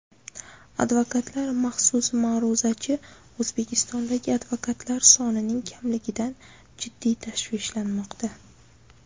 Advokatlar Maxsus ma’ruzachi O‘zbekistondagi advokatlar sonining kamligidan jiddiy tashvishlanmoqda.